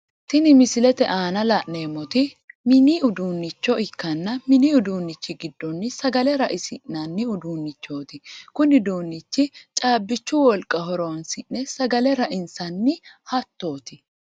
Tinni misilete aanna la'neemoti minni uduunicho ikkanna minni uduunichi gidono sagale raisi'nanni ududuunichooti kunni uduunchino caabichu wolqa horoonsi'ne sagale raisi'nanni hatooti.